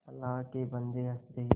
अल्लाह के बन्दे हंस दे